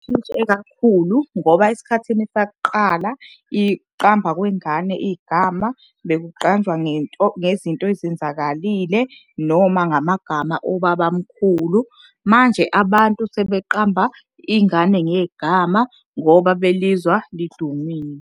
kakhulu ngoba esikhathini sakuqala kwengane igama bekuqanjwa ngento, ngezinto ezenzakalile noma ngamagama obaba mkhulu. Manje abantu sebeqamba ingane ngegama ngoba belizwa lidumile.